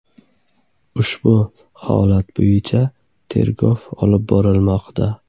Ushbu holat bo‘yicha tergov olib borilmoqda.